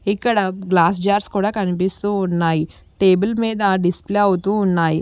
ఇక్కడ glass jars కూడా కనిపిస్తూ ఉన్నాయి టేబుల్ మీద డిస్ప్లే అవుతూ ఉన్నాయి.